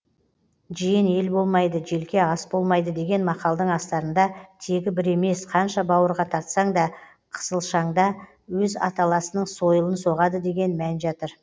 жиен ел болмайды желке ас болмайды деген мақалдың астарында тегі бір емес қанша бауырға тартсаң да қысылшанда өз аталасының сойылын соғады деген мән жатыр